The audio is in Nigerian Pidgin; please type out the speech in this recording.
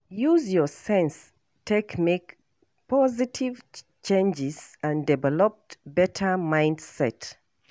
Use your sense take make positive changes and develop better mindset